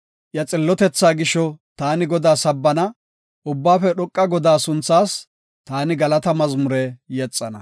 Iya xillotethaa gisho taani Godaa sabbana; Ubbaafe Dhoqa Godaa sunthaas taani galata mazmure yexana.